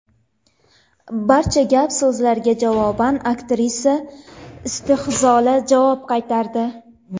Barcha gap-so‘zlarga javoban aktrisa istehzoli javob qaytardi.